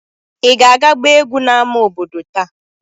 Ị ga-aga gbaa egwú n’ámá obodo taa?